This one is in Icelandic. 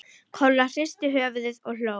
Kolla hristi höfuðið og hló.